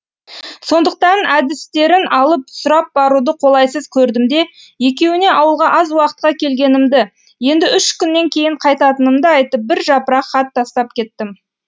сондықтан әдірістерін алып сұрап баруды қолайсыз көрдім де екеуіне ауылға аз уақытқа келгенімді енді үш күннен кейін қайтатынымды айтып бір жапырақ хат тастап кеттім